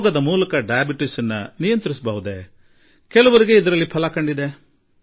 ಯೋಗದಿಂದ ಮಧುಮೇಹ ನಿಯಂತ್ರಿಸಲು ಸಾಧ್ಯವಾಗುತ್ತದೆಯೇ ಕೆಲವರಿಗೆ ಈ ನಿಟ್ಟಿನಲ್ಲಿ ಯಶಸ್ಸು ಸಿಕ್ಕಿದೆ